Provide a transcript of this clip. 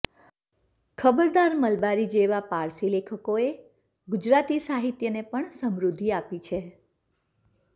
ખબરદાર મલબારી જેવા પારસી લેખકોએ ગુજરાતી સાહિત્યને પણ સમૃદ્ધિ આપી છે